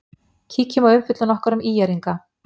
Kíkjum á umfjöllun okkar um ÍR-inga.